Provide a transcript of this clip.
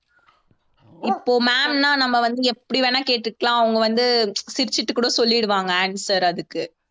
இப்போ ma'am னா நம்ம வந்து எப்படி வேணா கேட்டுக்கலாம் அவங்க வந்து சிரிச்சுட்டு கூட சொல்லிடுவாங்க answer அதுக்கு